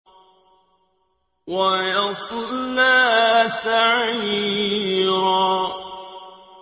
وَيَصْلَىٰ سَعِيرًا